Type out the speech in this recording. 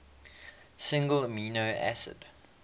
single amino acid